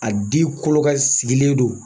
A di kolo ka sigilen don.